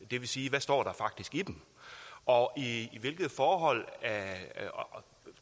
det vil sige hvad står der faktisk i dem og i hvilket forhold